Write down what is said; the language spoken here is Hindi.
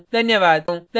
धन्यवाद